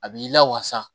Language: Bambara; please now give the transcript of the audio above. A b'i lawasa